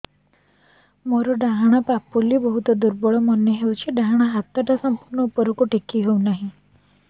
ମୋର ଡାହାଣ ପାଖ ବହୁତ ଦୁର୍ବଳ ମନେ ହେଉଛି ଡାହାଣ ହାତଟା ସମ୍ପୂର୍ଣ ଉପରକୁ ଟେକି ହେଉନାହିଁ